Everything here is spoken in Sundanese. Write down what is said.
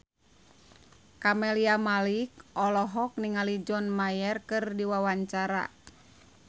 Camelia Malik olohok ningali John Mayer keur diwawancara